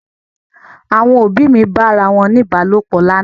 Àwọn òbí mi bá ara wọn ní Ìbálòpọ̀ lánàá.